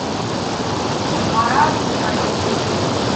марат геннадьевич